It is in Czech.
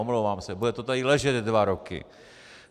Omlouvám se, bude to tady ležet dva roky.